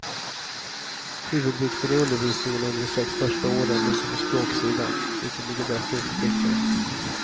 Huvudvikten i undervisningen under de sex första åren ligger på språksidan, vilket ligger bäst till för flickorna.